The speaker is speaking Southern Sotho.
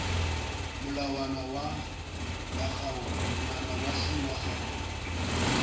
molawana wa c wa kgaolo